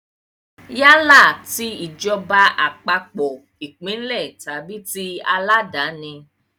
Yálà ti ìjọba àpapọ̀, ìpínlẹ̀ tàbí tí aláàdáni.